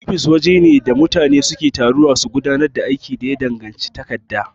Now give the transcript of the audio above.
Ofis wajene da mutane suke taruwa su gudanar da aiki da ya danganci takarda.